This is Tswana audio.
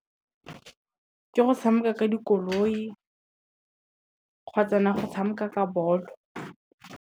Ke go tshameka ka dikoloi, kgotsa na go tshameka ka bolo.